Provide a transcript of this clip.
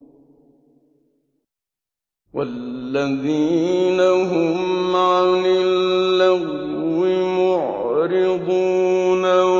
وَالَّذِينَ هُمْ عَنِ اللَّغْوِ مُعْرِضُونَ